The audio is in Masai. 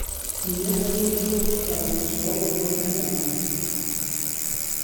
ninye ayieu nayiolou sasisho oolomon lentaani